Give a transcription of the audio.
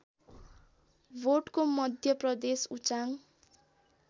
भोटको मध्य प्रदेश उचाङ